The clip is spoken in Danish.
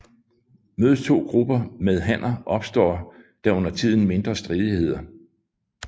Mødes to grupper med hanner opstår der undertiden mindre stridigheder